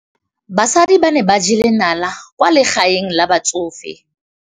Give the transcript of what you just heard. Basadi ba ne ba jela nala kwaa legaeng la batsofe.